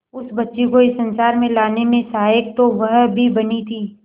उस बच्ची को इस संसार में लाने में सहायक तो वह भी बनी थी